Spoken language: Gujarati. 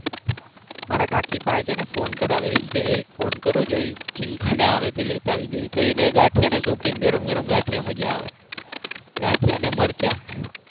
મારા કાકી પાસે છે ને ફોન કરાવે. એ કે ફોન કરો જોઈ. તો એને ગાંઠિયા ના શોખીન ગરમ ગરમ ગાંઠિયા મજા આવે. ગાંઠિયા ને મરચા.